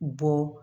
Bɔ